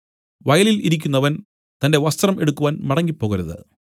വയലിൽ ഇരിക്കുന്നവൻ തന്റെ വസ്ത്രം എടുക്കുവാൻ മടങ്ങിപ്പോകരുത്